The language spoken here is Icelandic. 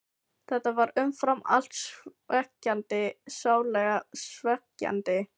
Þetta var umfram allt svekkjandi, sárlega svekkjandi.